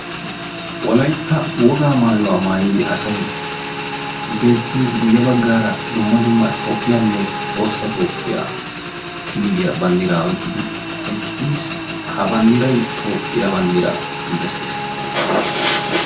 wolaytta wogaa maayuwa maayidi asay beetees. guye bagaara dumma dumma toophiyanne tohossa toophiya kililiya banddiraa oyqqidi eqqis. ha banddiray toophya banddiraa besees.